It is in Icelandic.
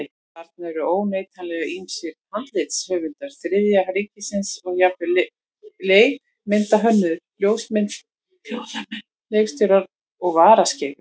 Þarna eru óneitanlega ýmsir handritshöfundar Þriðja ríkisins og jafnvel leikmyndahönnuðir, ljósamenn, leikstjórar og varaskeifur.